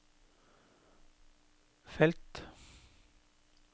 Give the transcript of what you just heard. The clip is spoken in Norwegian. felt